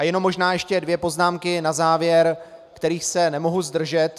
A jenom možná ještě dvě poznámky na závěr, kterých se nemohu zdržet.